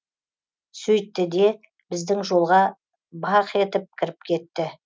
сөйттіде біздің жолға баах етіп кіріп кетті